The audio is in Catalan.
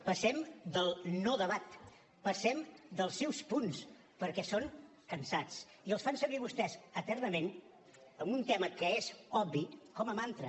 passem del no debat passem dels seus punts perquè són cansats i els fan servir vostès eternament en un tema que és obvi com a mantra